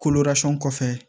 kɔfɛ